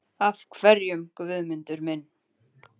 Af hverjum, Guðmundur minn?